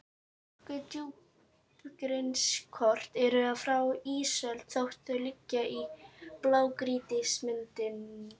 Nokkur djúpbergsinnskot eru frá ísöld þótt þau liggi í blágrýtismynduninni.